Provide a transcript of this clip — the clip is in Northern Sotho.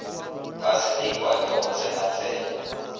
ba selekwa ke go tsenatsena